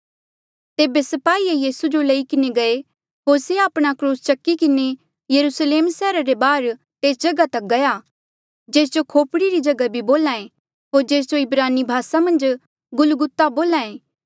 तेबे स्पाही यीसू जो लई किन्हें गये होर से आपणा क्रूस चकी किन्हें यरुस्लेम सैहरा रे बाहर तेस जगहा तक गया जेस जो खोपड़ी री जगहा बोल्हा ऐें होर जेस जो इब्रानी भासा मन्झ गुलगुता बोल्हा एें